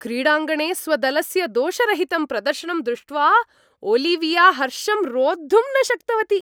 क्रीडाङ्गणे स्वदलस्य दोषरहितं प्रदर्शनं दृष्ट्वा ओलिविया हर्षं रोद्धुं न शक्तवती।